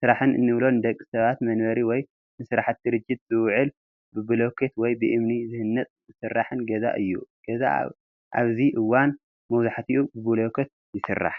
ስራሕን እንብሎ ንደቂ ሰባት መንበሪ ወይ ንስራሕቲ ድርጅት ዝውዕል ብብሎኬት ወይ ብእምኒ ዝህነፅን ዝስራሕን ገዛ እዩ፡፡ ገዛ ኣብዚ እዋን መብዛሕትኡ ብብሎኬት ይስራሕ፡፡